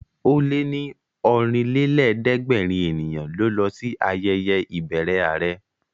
Ó lé ní Ọ̀rìnlélẹ̀ẹ́dẹ́gbèrin ènìyàn ló lọ sí ayẹyẹ ìbẹrẹ àrẹ